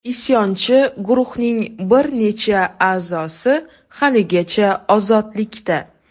Isyonchi guruhning bir necha a’zosi haligacha ozodlikda.